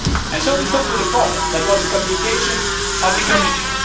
And so we come to the problem the communication from the Commission.